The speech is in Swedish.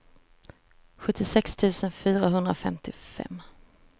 sjuttiosex tusen fyrahundrafemtiofem